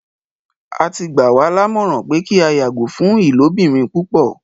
Á ti gbà wa làmọ̀ran pẹ kí a yàgọ̀ fún ilòbìrín púpọ̀.